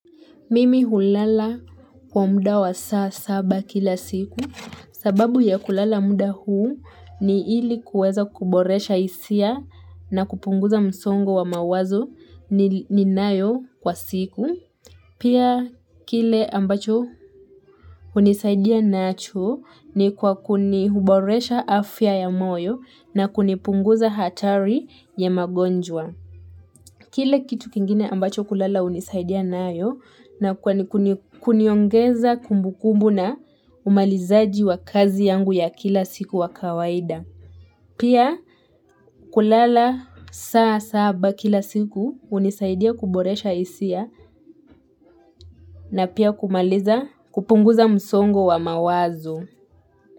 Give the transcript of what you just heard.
Mimi hulala kwa muda wa saa saba kila siku. Sababu ya kulala muda huu ni ili kuweza kuboresha hisia na kupunguza msongo wa mawazo ninayo kwa siku. Pia kile ambacho hunisaidia nacho ni kwa huboresha afya ya moyo na kunipunguza hatari ya magonjwa. Kile kitu kingine ambacho kulala hunisaidia nayo ni kuniongeza kumbukumbu na umalizaji wa kazi yangu ya kila siku wa kawaida. Pia kulala saa saba kila siku hunisaidia kuboresha hisia na pia kumaliza kupunguza msongo wa mawazo.